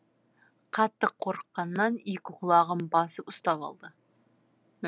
қатты қорыққанан екі құлағын басып ұстап алды